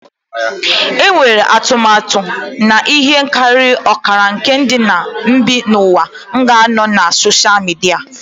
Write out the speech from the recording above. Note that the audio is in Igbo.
Enwere atụmatụ na ihe karịrị ọkara nke ndị bi n'ụwa ga-anọ na soshal midia